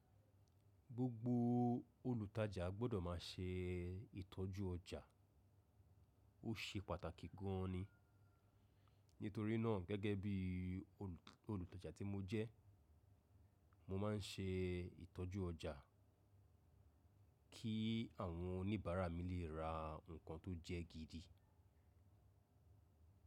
Gbogbo olùtajà gbọ́dọ̀ má ṣe ìtọ́jú ọjà, ó ṣe pàtàkì gan an ni. Nítorí náà gẹ́gẹ́ bí olùtajà tí mo jẹ́, mo má ń ṣe ìtọ́jú ọjà kí àwọn oníbàárà mi lè ra nǹkan tó jẹ́ gidi.